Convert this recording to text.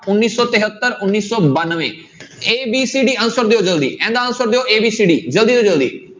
ਉੱਨੀ ਸੌ ਤਹੇਤਰ ਉੱਨੀ ਸੌ ਬਾਨਵੇਂ a, b, c, d answer ਦਿਓ ਜ਼ਲਦੀ, ਇਹਦਾ answer ਦਿਓ a, b, c, d ਜ਼ਲਦੀ ਤੋਂ ਜ਼ਲਦੀ।